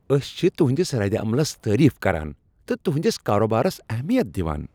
أسۍ چھ تہنٛدس ردعملس تٲریف کران تہٕ تہنٛدس کارٕبارس اہمیت دوان۔